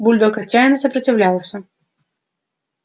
бульдог отчаянно сопротивлялся